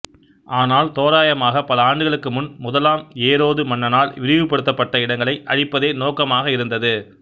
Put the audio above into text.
ஆனால் தோராயமாக பல ஆண்டுகளுக்கு முன் முதலாம் ஏரோது மன்னனால் விரிவுபடுத்தப்பட்ட இடங்களை அழிப்பதே நோக்கமாக இருந்தது